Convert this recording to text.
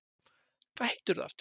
Hvað heitirðu aftur?